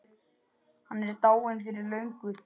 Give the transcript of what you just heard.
Hann er dáinn fyrir löngu.